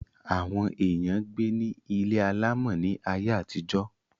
Àwọn èèyàn gbé ní ilé alàmọ̀ ní ayé àtijó